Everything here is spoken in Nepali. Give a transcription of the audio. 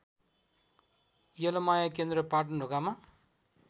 यलमाया केन्द्र पाटनढोकामा